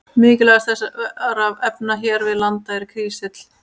Mikilvægast þessara efna hér við land er kísill.